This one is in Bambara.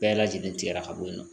Bɛɛ lajɛlen tigɛra ka bɔ yen nɔ